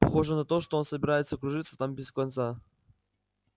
похоже на то что он собирается кружиться там без конца